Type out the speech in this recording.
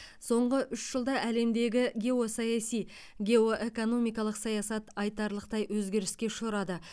соңғы үш жылда әлемдегі геосаяси геоэкономикалық саясат айтарлықтай өзгеріске ұшырады